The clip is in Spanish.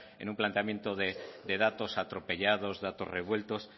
en un planteamiento de datos atropellados datos revueltos